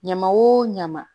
Ɲama o ɲama